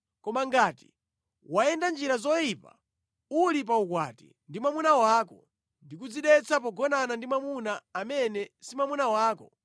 Koma ngati wayenda njira yoyipa uli pa ukwati ndi mwamuna wako ndi kudzidetsa pogonana ndi mwamuna amene si mwamuna wako,’